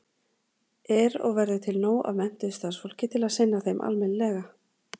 Er og verður til nóg af menntuðu starfsfólki til að sinna þeim almennilega?